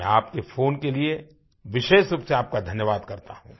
मैं आपके फ़ोन के लिए विशेष रूप से आपका धन्यवाद करता हूँ